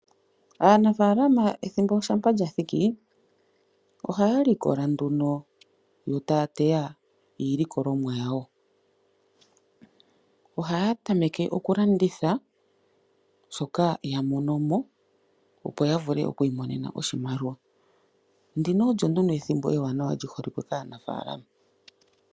Aanafalama ethimbo uuna lya thiki oha ya likola nduno yo taya teya iilikolomwa yawo. Oha ya tameke okulanditha shoka ya monomo opo ya vule okwiimonena oshimaliwa ndino olyo nduno ethimbo ewanawa lyi holike kaanafalama.